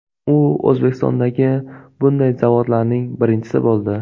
U O‘zbekistondagi bunday zavodlarning birinchisi bo‘ldi.